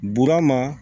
Burama